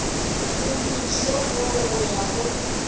modirišong wo go ya go